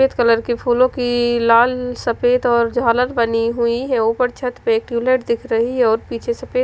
सफेद कलर के फूलो की लाल सफेद और जालर बनी हुई है उपर छत पे एक दिख रही है और पीछे सफेद--